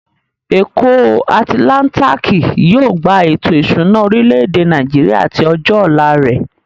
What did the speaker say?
Èkó atilántíkì yóò gba ètò ìṣúná orilẹ̀-èdè Nàìjíríà àti ọjọ́ ọ̀la rẹ̀.